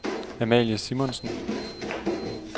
Amalie Simonsen